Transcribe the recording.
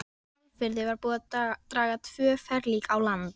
Í Hvalfirði var búið að draga tvö ferlíki á land.